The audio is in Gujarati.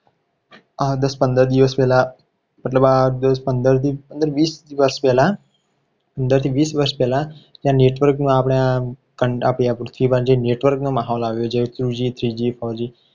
દસ પંદર દિવસ પહેલા મતલબ આ દસ પંદર વીસ દિવસ પહેલા પંદર થી વીસ વર્ષ પહેલા આ network ના આપણે આ જે network નો માહોલ આવ્યો. છે two g three g four g